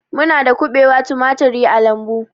Muna da kubewa, tumaturi a lambu